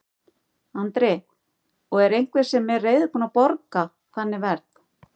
Andri: Og er einhver sem er reiðubúin að borga þannig verð?